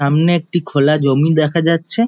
সামনে একটি খোলা জমি দেখা যাচ্ছে-এ--